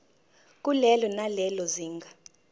kulelo nalelo zinga